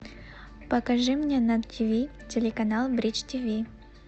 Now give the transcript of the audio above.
покажи мне на тв телеканал бридж тв